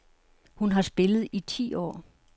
Hun har spillet i ti år.